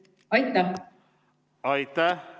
Aitäh!